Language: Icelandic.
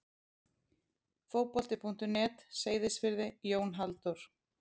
Fótbolti.net, Seyðisfirði- Jón Halldór.